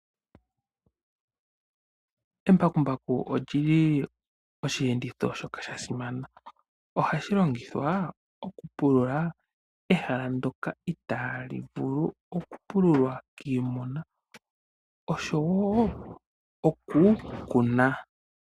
Embakumbaku olyili oshiyenditho shoka sha simana . Ohashi longithwa okupulula ehala ndyoka itaali vulu okupungulwa kiimuna oshowoo okukuna.